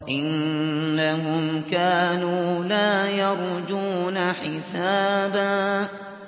إِنَّهُمْ كَانُوا لَا يَرْجُونَ حِسَابًا